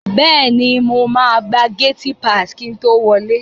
Bẹ́è ni, mo máa gba gátí paàsì kí n to wọlẹ́.